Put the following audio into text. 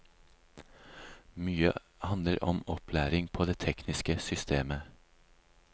Mye handler om opplæring på det tekniske systemet.